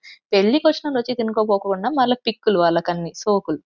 పెళ్లి వచనాలు వచ్చి తినక పోకుండా మల్ల పికులు వల్లకాని సోకులు.